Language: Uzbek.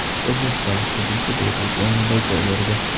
O‘zbekistonlik hujumchi debyut o‘yinida gol urdi.